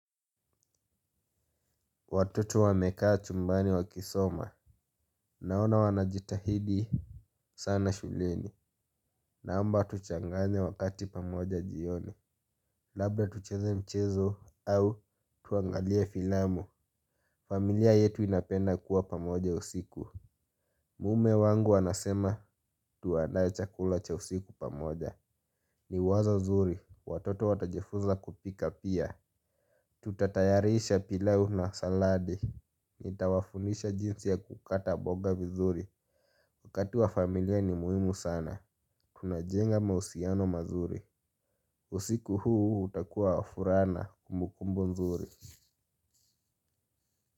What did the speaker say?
Watoto wamekaa chumbani wakisoma. Naona wanajitahidi. Sana shuleni. Naomba tuchanganye wakati pamoja jioni. Labda tucheze mchezo au tuangalie filamu. Familia yetu inapenda kuwa pamoja usiku. Mume wangu anasema tuandae chakula cha usiku pamoja. Ni wazo zuri. Watoto watajifuza kupika pia. Tutatayarisha pilau na saladi. Nitawafunisha jinsi ya kukata boga vizuri. Wakati wa familia ni muhimu sana. Tunajenga mausiano mazuri. Usiku huu utakuwa wa furaa na kumbu kumbu nzuri.